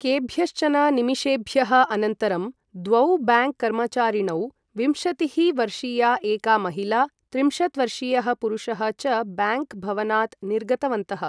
केभ्यश्चन निमेषेभ्यः अनन्तरं द्वौ बाङ्क् कर्मचारिणौ, विंशतिः वर्षीया एका महिला, त्रिंशत् वर्षीयः पुरुषः च बाङ्क् भवनात् निर्गतवन्तः।